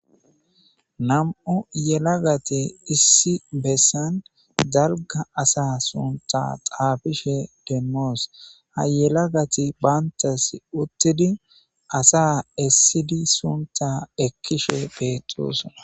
nam7u yelagati issi bessan dalga asa sunta xaafishe dennoos ha yelagati baantas uttidi asa essidi sunta ekkishe beettosona